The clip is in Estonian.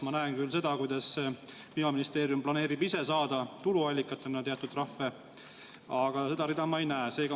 Ma näen küll seda, kuidas Kliimaministeerium planeerib ise saada tuluallikatena teatud trahve, aga seda rida ma ei näe.